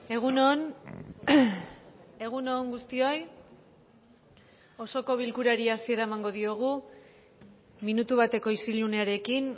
egun on egun on guztioi osoko bilkurari hasiera emango diogu minutu bateko isilunearekin